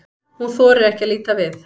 Hún þorir ekki að líta við.